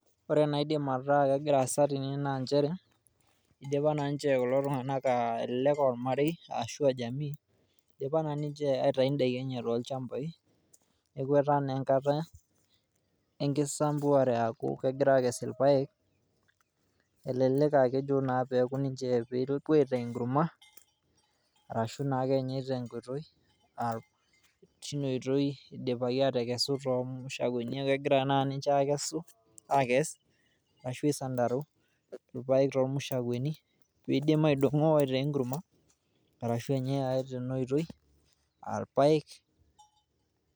ore enaa idim ataa kegira asa tene naa idipa naa niche aitayu idakin too ilchambai lenye neeku naa etaa enkata enkisambuare ashu egira aakes irpayek ,elelek aakejo pee epuo aitaa enkurma neeku kegira sai ninche akes irpaayek too mushakwani ashu aisandarua, pidim ainosa aitaa enkurma ashu enyae ake tanaitoi.